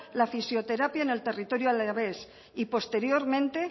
la fisioterapia en el territorio alavés y posteriormente